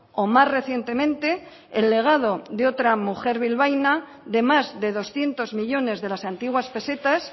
o más recientemente el legado de otra mujer bilbaína de más de doscientos millónes de las antiguas pesetas